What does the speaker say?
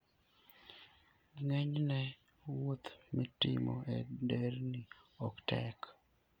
Ng'enyne, wuoth mitimo e nderni ok tek.